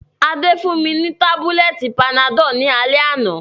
Adé fún mi ni tábúlẹ̀tì panadọ́l ní alẹ́ àná